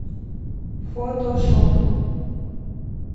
фотошоп